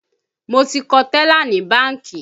Mo ti kọ tẹ́là ní bánkì